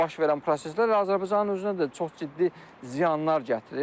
Baş verən proseslər Azərbaycanın özünə də çox ciddi ziyanlar gətirir.